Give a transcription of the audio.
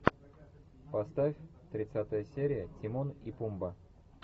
поставь тридцатая серия тимон и пумба